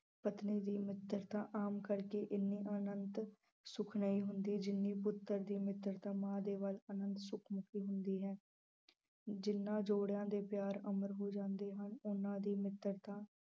ਪਤਨੀ ਦੀ ਮਿੱਤਰਤਾ ਆਮ ਕਰਕੇ ਇੰਨੀ ਆਨੰਦ ਹੁੰਦੀ ਹੈ ਜਿੰਨੀ ਪੁੱਤਰ ਦੀ ਮਿੱਤਰਤਾ ਮਾਂ ਦੇ ਵੱਲ ਆਨੰਦ ਹੁੰਦੀ ਹੈ, ਜਿਹਨਾਂ ਜੋੜਿਆਂ ਦੇ ਪਿਆਰ ਅਮਰ ਹੋ ਜਾਂਦੇ ਹਨ, ਉਹਨਾਂ ਦੀ ਮਿੱਤਰਤਾ